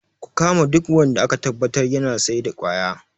Ku kama duk wanda aka tabbatar yana saida kwaya